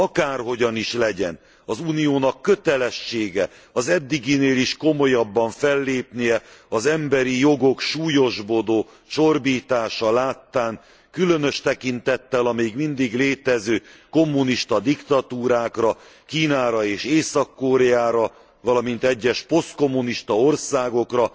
Akárhogyan is legyen, az Uniónak kötelessége az eddiginél is komolyabban is fellépnie az emberi jogok súlyosbodó csorbítása láttán, különös tekintettel a még mindig létező kommunista diktatúrákra, Kínára és Észak Koreára, valamint egyes posztkommunista országokra,